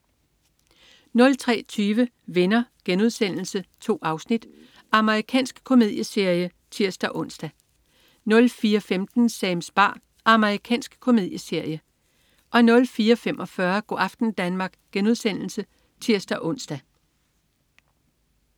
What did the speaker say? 03.20 Venner.* 2 afsnit. Amerikansk komedieserie (tirs-ons) 04.15 Sams bar. Amerikansk komedieserie 04.45 Go' aften Danmark* (tirs-ons)